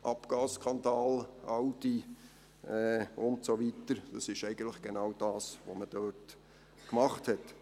Abgasskandal, Audi und so weiter: Das ist eigentlich genau das, was man dort gemacht hat.